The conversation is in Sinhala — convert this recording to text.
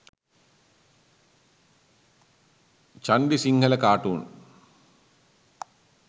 chandi sinhala cartoon